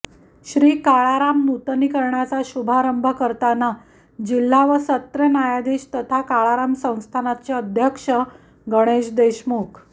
श्री काळाराम नूतनीकरणाचा शुभारंभ करताना जिल्हा व सत्र न्यायाधीश तथा काळाराम संस्थानचे अध्यक्ष गणेश देशमुख